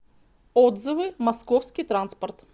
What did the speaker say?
отзывы московский транспорт